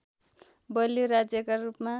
बलियो राज्यका रूपमा